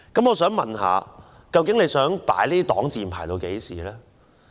我想問政府究竟想用這擋箭牌到何時？